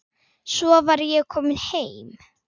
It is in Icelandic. Svo var ég komin heim.